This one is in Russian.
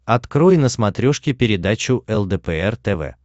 открой на смотрешке передачу лдпр тв